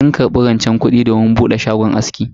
Sun karbi rancen kudi domin bude shagon aski.